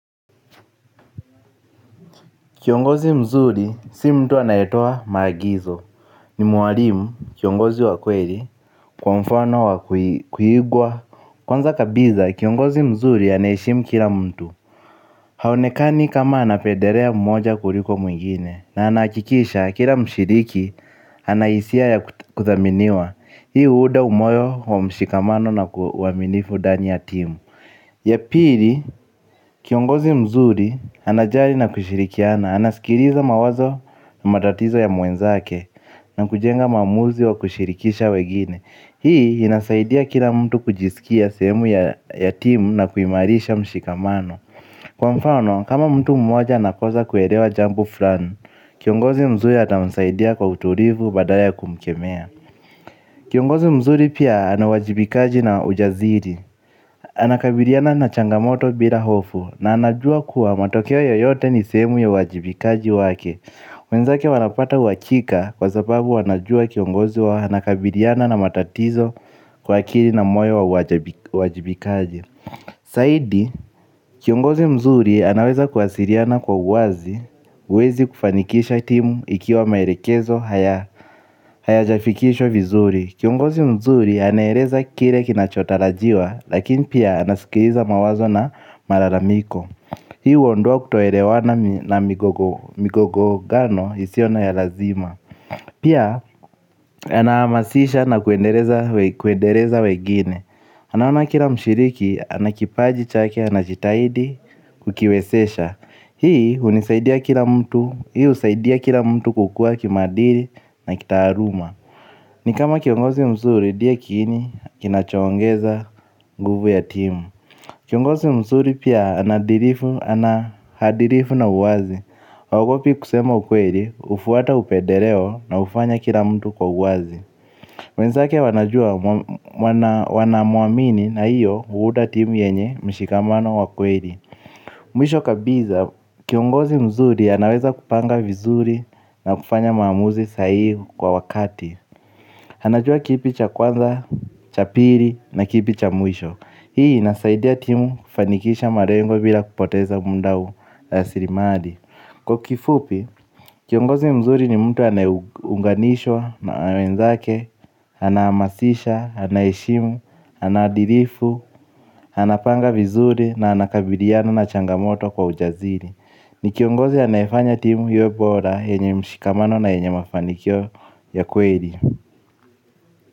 Kiongozi mzuri si mtu anayetoa maagizo. Ni mwalimu kiongozi wa kweli kwa mfano wa kuigwa. Kwanza kabiza kiongozi mzuri anaheshimu kila mtu. Haonekani kama anapederea mmoja kuliko mwingine na anahakikisha kila mshiriki anahisia ya kudhaminiwa. Hii huuda umoyo wa mshikamano na uaminifu dani ya timu. Ya pili, kiongozi mzuri anajari na kushirikiana. Anaskiliza mawazo na matatizo ya mwenzake na kujenga maamuzi wa kushirikisha wegine. Hii inasaidia kila mtu kujisikia sehemu ya timu na kuimarisha mshikamano. Kwa mfano, kama mtu mmoja anakosa kuelewa jambo fulani. Kiongozi mzuri ata msaidia kwa utulivu badala ya kumkemea. Kiongozi mzuri pia anauwajibikaji na ujaziri. Anakabiriana na changamoto bila hofu na anajua kuwa matokeo yoyote ni sehemu ya uwajibikaji wake wenzake wanapata wakika kwa sababu wanajua kiongozi wao anakabiliana na matatizo kwa akili na moyo wa wajibikaji zaidi kiongozi mzuri anaweza kuwasiliana kwa uwazi uwezi kufanikisha timu ikiwa maelekezo hayajafikishwa vizuri. Kiongozi mzuri anaereza kile kinachotarajiwa lakini pia anasikiliza mawazo na malalamiko. Hii huondoa kutoelewana na migogano isiyo na ya lazima. Pia anaamasisha na kuendeleza wegine. Anaona kila mshiriki anakipaji chake anajitahidi kukiwesesha. Hii husaidia kila mtu kukua kimaadili na kitaaluma. Ni kama kiongozi mzuri die kiini kinachoongeza nguvu ya timu. Kiongozi mzuri pia anaadirifu na uwazi. Waogopi kusema ukweli hufuata upedereo na hufanya kila mtu kwa uwazi wenzake wanajua wanamwamini na hiyo huuda timu yenye mshikamano wa kweli. Mwisho kabiza kiongozi mzuri anaweza kupanga vizuri na kufanya maamuzi sahihi kwa wakati anajua kipi cha kwanza, cha piri na kipi cha mwisho. Hii inasaidia timu kufanikisha malengo bila kupoteza muda ulasiri mali. Kwa kifupi, kiongozi mzuri ni mtu anayeunganishwa na wenzake. Anaamasisha, anaheshimu, anadilifu, anapanga vizuri na anakabiliana na changamoto kwa ujaziri. Ni kiongozi anayefanya timu iwe bora yenye mshikamano na yenye mafanikio ya kweli.